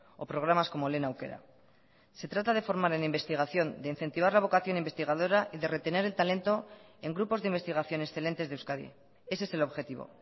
o programas como lehen aukera se trata de formar en investigación de incentivar la vocación investigadora y de retener el talento en grupos de investigación excelentes de euskadi ese es el objetivo